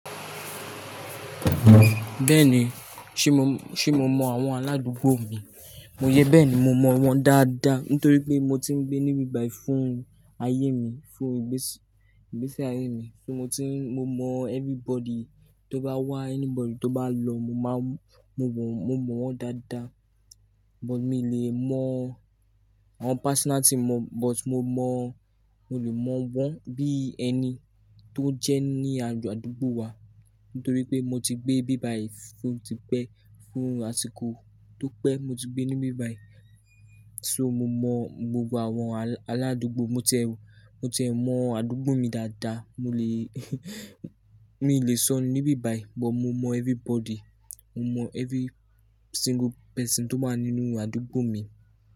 Bẹ́ẹ̀ni, ṣe mọ, ṣe mọ mọ àwọn aládùúgbò mi? Mo yẹ́ bẹ́ẹ̀ni, mo mọ wọ́n dáadáa nítorí pé mo ti ń gbé níbi báyìí fún ayé mi, fún ìgbésí, ìgbésí ayé mi. So mo ti ń, mo mọ everybody tó bá wá, anybody tó bá lọ, mo máa ń, mo mọ, mo mọ wọ́n dáadáa. But mi ò lè mọ àwọn personality mọ, but mo mọ, mo lè mọ wọ́n bí ẹni tó jẹ́ ní àdúgbò wa nítorí pé mo ti gbé bíbáyìí fún òtí pẹ́, fún àsìkò tó pẹ́ mo ti gbé níbi báyìí. So mo mọ gbogbo àwọn aládùúgbò, mo ti ẹ, mo ti ẹ mọ àdúgbò mi dáadáa. Mo lè, mi lè sọ níbi báyìí, but mo mọ everybody. Mo mọ every single person tó wà nínú àdúgbò mi.